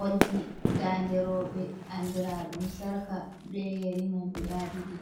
Olɗi. ɗaɗe roɓe anɗraɗum sarka ɓe yari mai guɗa ɗiɗi.